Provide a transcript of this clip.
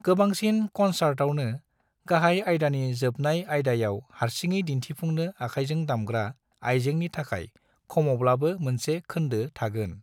गोबांसिन कनसार्टावनो, गाहाय आइदानि जोबनाय आइदायाव हारसिङै दिन्थिफुंनो आखायजों दामग्रा आइजेंनि थाखाय खमावब्लाबो मोनसे खोन्दो थागोन।